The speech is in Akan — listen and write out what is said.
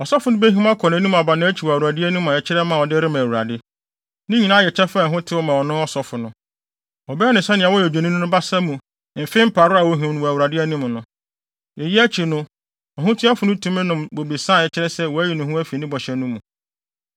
Ɔsɔfo no behim akɔ nʼanim aba nʼakyi wɔ Awurade anim a ɛkyerɛ ma a ɔde rema Awurade. Ne nyinaa yɛ kyɛfa a ɛho tew ma ɔsɔfo no. Wɔbɛyɛ no sɛnea wɔyɛ odwennini no basa mu mfe mparow a wohim no wɔ Awurade anim no. Eyi akyi no, ɔhotuafo no tumi nom bobesa a ɛkyerɛ sɛ wɔayi no afi ne bɔhyɛ no mu.